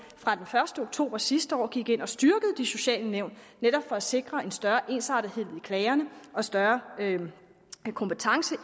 fra den første oktober sidste år gik ind og styrkede de sociale nævn netop for at sikre en større ensartethed i klagerne og større kompetence i